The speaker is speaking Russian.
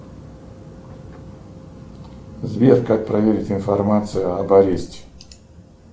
сбер как проверить информацию об аресте